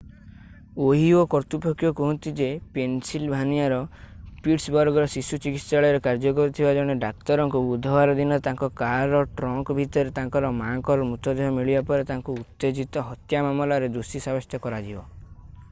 Ohio କର୍ତ୍ତୃପକ୍ଷ କୁହନ୍ତି ଯେ ପେନ୍‌ସିଲଭାନିଆର ପିଟ୍ସବର୍ଗର ଶିଶୁ ଚିକିତ୍ସାଳୟରେ କାର୍ଯ୍ୟ କରୁଥିବା ଜଣେ ଡାକ୍ତରଙ୍କୁ ବୁଧବାର ଦିନ ତାଙ୍କ କାରର ଟ୍ରଙ୍କ ଭିତରେ ତାଙ୍କର ମାଆଙ୍କର ମୃତଦେହ ମିଳିବା ପରେ ତାଙ୍କୁ ଉତ୍ତେଜିତ ହତ୍ୟା ମାମଲାରେ ଦୋଷୀ ସାବ୍ୟସ୍ତ କରାଯିବ ।